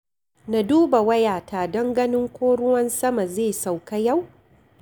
Na duba wayata don ganin ko ruwan sama zai sauƙa yau.